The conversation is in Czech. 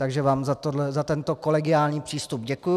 Takže vám za tento kolegiální přístup děkuji.